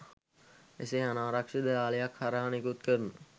එසේ අනාරක්ෂිත ජාලයක් හරහා නිකුත් කරන